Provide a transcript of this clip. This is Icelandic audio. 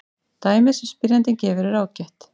Dæmið sem spyrjandinn gefur er ágætt.